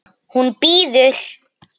Hún bíður!